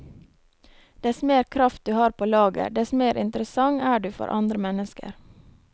Dess mer kraft du har på lager, dess mer interessant er du for andre mennesker.